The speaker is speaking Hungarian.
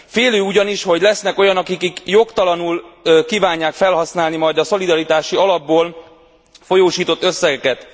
Félő ugyanis, hogy lesznek olyanok, akik jogtalanuk kívánják felhasználni majd a szolidaritási alapból folyósított összegeket.